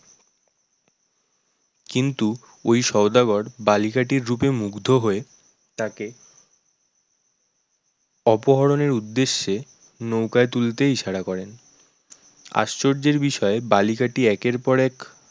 কিন্তু ওই সদাগর বালিকাটির রূপে মুগ্ধ হয়ে তাকে অপহরণ এর উদ্দেশ্যে নৌকায় তুলতে ইশারা করেন আশ্চর্যের বিষয় বালিকাটি একের পর এক